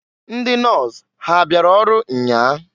Ndị nọs ha abịara ọrụ nnyaa?